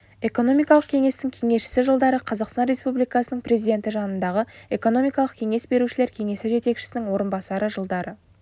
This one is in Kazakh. экономикалық кеңестің кеңесшісі жылдары қазақстан республикасының президенті жанындағы экономикалық кеңес берушілер кеңесі жетекшісінің орынбасары жылдары